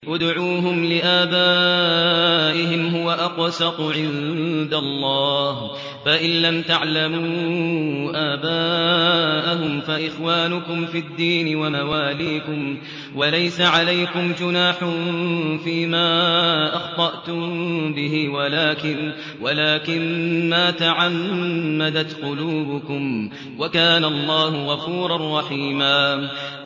ادْعُوهُمْ لِآبَائِهِمْ هُوَ أَقْسَطُ عِندَ اللَّهِ ۚ فَإِن لَّمْ تَعْلَمُوا آبَاءَهُمْ فَإِخْوَانُكُمْ فِي الدِّينِ وَمَوَالِيكُمْ ۚ وَلَيْسَ عَلَيْكُمْ جُنَاحٌ فِيمَا أَخْطَأْتُم بِهِ وَلَٰكِن مَّا تَعَمَّدَتْ قُلُوبُكُمْ ۚ وَكَانَ اللَّهُ غَفُورًا رَّحِيمًا